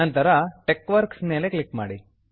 ನಂತರ TeXworks TeXworks ಮೇಲೆ click ಮಾಡಿ